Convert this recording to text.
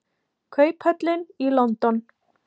Kauphöllin í London.